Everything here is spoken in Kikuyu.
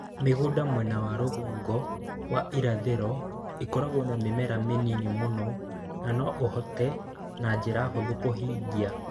Mi͂gu͂nda mwena wa ru͂gongo wa irathi͂ro i͂kiragwo na mi͂mera mi͂nini mu͂no na no u͂hote na nji͂ra hu͂thu͂ ku͂hingia.